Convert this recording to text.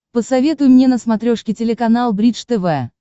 посоветуй мне на смотрешке телеканал бридж тв